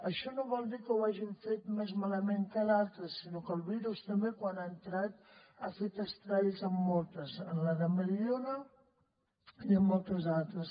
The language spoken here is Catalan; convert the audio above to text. això no vol dir que ho hagin fet més malament que d’altres sinó que el virus també quan ha entrat ha fet estralls en moltes en la de mediona i en moltes altres